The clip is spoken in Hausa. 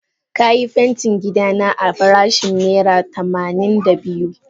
Ka yi fentin gida na a farashin naira tamanin da biyu.